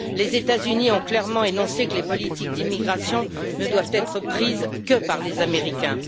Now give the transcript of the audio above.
Les États Unis ont clairement énoncé que les politiques d'immigration ne doivent être prises que par les Américains.